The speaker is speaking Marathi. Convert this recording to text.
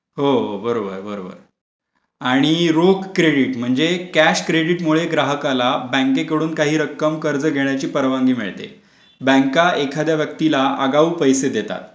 हो बरोबर आणि रोग क्रेडिट म्हणजे कॅश क्रेडिट मुळे ग्राहकाला बँकेकडून काही रक्कम कर्ज घेण्याची परवानगी मिळते. बँका एखाद्या व्यक्तीला आगाऊ पैसे देतात